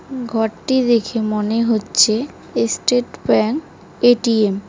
ঘরটি দেখে মনে হচ্ছে এসস্টেট ব্যাংক এ_টি_এম ।